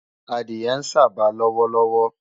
Adìẹ ń sába lọ́wọ́lọ́wọ́